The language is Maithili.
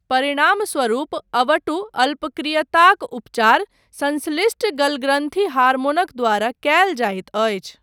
परिणामस्वरूप अवटु अल्पक्रियताक उपचार संश्लिष्ट गलग्रन्थि हार्मोनक द्वारा कयल जाइत अछि।